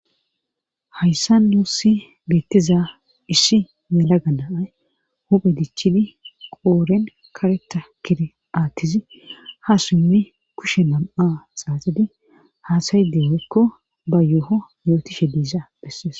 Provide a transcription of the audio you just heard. hayssa nuussi beettiza isshi yelaga naay huphe dichidi qooren kareta kiri atizi ha siimi kushe nam7a xaaxidi haasayde hoykko ba yoho yootishe diiza bessees